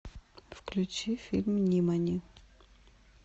включи фильм нимани